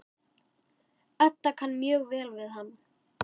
Edda kann mjög vel við hann.